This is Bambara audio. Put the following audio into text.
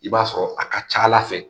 I b'a sɔrɔ a ka ca Ala fɛ